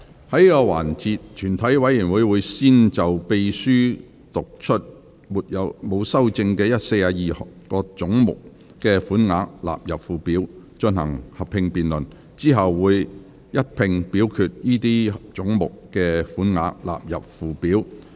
在這個環節，全體委員會會先就秘書剛讀出沒有修正案的42個總目的款額納入附表，進行合併辯論。之後會一併表決該些總目的款額納入附表。